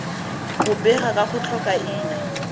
go bega ka go tlhokaina